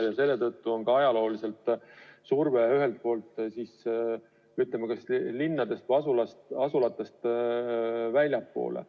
Ja selle tõttu on ikka olnud surve ehitada, ütleme, linnadest ja muudest asulatest veidi väljapoole.